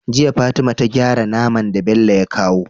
Jiya fatima ta gyara naman da Bello ya kawa